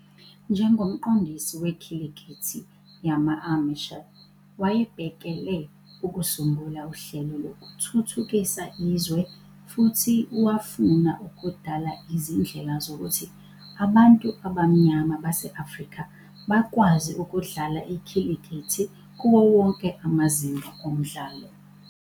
Njengomqondisi wekhilikithi yama-amateur, wayebhekele ukusungula uhlelo lokuthuthukisa izwe, futhi wafuna ukudala izindlela zokuthi abantu abamnyama base-Afrika bakwazi ukudlala ikhilikithi kuwo wonke amazinga omdlalo.